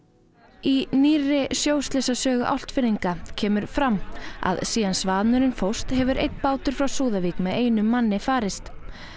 í nýrri Álftfirðinga kemur fram að síðan Svanurinn fórst hefur einn bátur frá Súðavík með einu manni farist